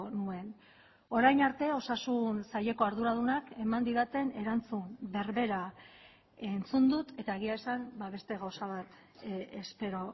nuen orain arte osasun saileko arduradunak eman didaten erantzun berbera entzun dut eta egia esan beste gauza bat espero